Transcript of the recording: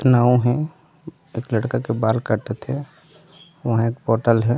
नाव है एक लड़का के बाल काटत है वहाँ एक होटल है।